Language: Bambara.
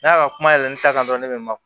N'a ka kuma yɛlɛma kan dɔrɔn ne bɛ ma